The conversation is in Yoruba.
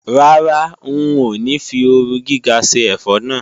Rárá, ń ò ní fi ooru gíga ṣe ẹ̀fọ́ náà.